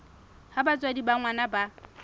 ha batswadi ba ngwana ba